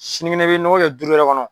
Sinikɛnɛ i bɛ nɔgɔ kɛ duuru wɛrɛ kɔnɔ.